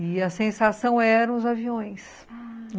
E a sensação eram os aviões, ah...